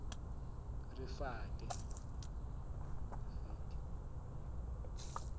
rifate